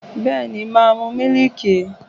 Bẹ́ẹ̀ni, màá mu mílíìkì.